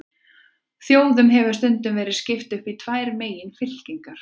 Þjóðum hefur stundum verið skipt upp í tvær meginfylkingar.